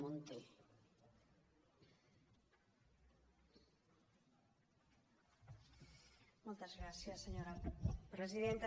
moltes gràcies senyora presidenta